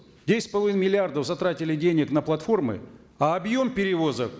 десять с половиной миллиардов затратили денег на платформы а объем перевозок